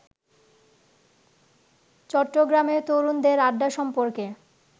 চট্টগ্রামে তরুণদের আড্ডা সম্পর্কে